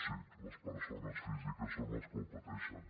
sí les persones físiques són les que ho pateixen